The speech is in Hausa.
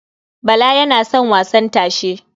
Bala yana wasan tashe.